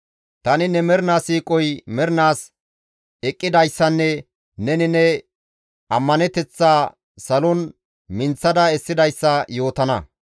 Tani ne mernaa siiqoy mernaas eqqidayssanne neni ne ammaneteththaa salon minththada essidayssa yootana.